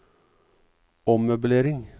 ommøblering